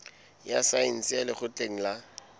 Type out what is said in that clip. ya saense ya lekgotleng la